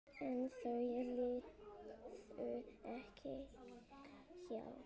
En þau liðu ekki hjá.